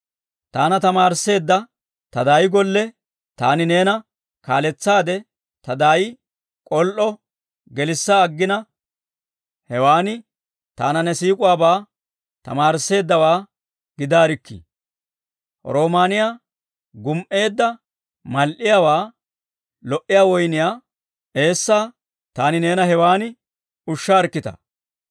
Taana tamaarisseedda ta daay golle taani neena kaaletsaade, ta daayi k'ol"o gelissa aginaa, hewan taana ne siik'uwaabaa tamaarisseeddawaa gidaarikkii; roomaaniyaa gum"eedda mal"iyaawaa, lo"iyaa woyniyaa eessaa taani neena hewan ushshaarikkitaa.